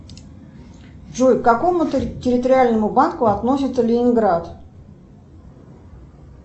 джой к какому территориальному банку относится ленинград